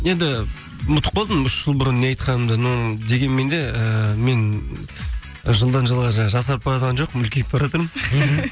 енді ұмытып қалдым үш жыл бұрын не айтқанымды но дегенмен де ыыы мен жылдан жылға жаңағы жасарып баратқан жоқпын үлкейіп баратырмын